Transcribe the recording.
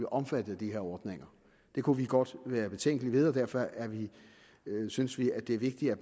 opfattet af de her ordninger der kunne vi godt være betænkelige og derfor synes vi at det er vigtigt at